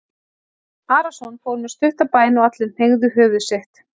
Jón Arason fór með stutta bæn og allir hneigðu höfuð sitt.